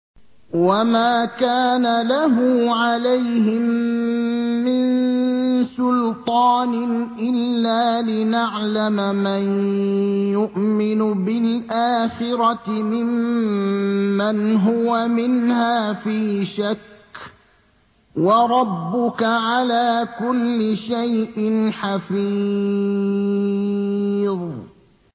وَمَا كَانَ لَهُ عَلَيْهِم مِّن سُلْطَانٍ إِلَّا لِنَعْلَمَ مَن يُؤْمِنُ بِالْآخِرَةِ مِمَّنْ هُوَ مِنْهَا فِي شَكٍّ ۗ وَرَبُّكَ عَلَىٰ كُلِّ شَيْءٍ حَفِيظٌ